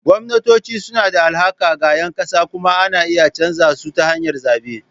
Gwamnatoci suna da alhaki ga ƴan ƙasa kuma ana iya canza su ta hanyar zaɓe.